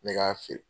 Ne k'a feere